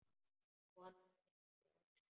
Konan yppti öxlum.